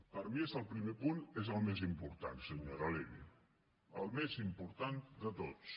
per mi el primer punt és el més important senyora levy el més important de tots